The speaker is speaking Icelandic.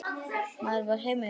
Maður var heima hjá sér.